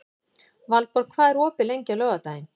Valborg, hvað er opið lengi á laugardaginn?